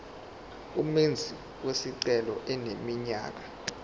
umenzi wesicelo eneminyaka